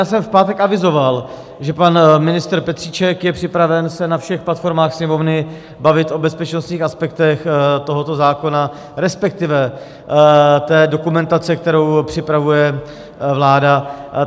Já jsem v pátek avizoval, že pan ministr Petříček je připraven se na všech platformách Sněmovny bavit o bezpečnostních aspektech tohoto zákona, respektive té dokumentace, kterou připravuje vláda.